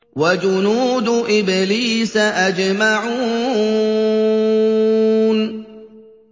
وَجُنُودُ إِبْلِيسَ أَجْمَعُونَ